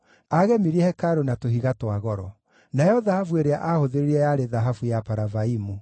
Aagemirie hekarũ na tũhiga twa goro. Nayo thahabu ĩrĩa aahũthĩrire yarĩ thahabu ya Paravaimu.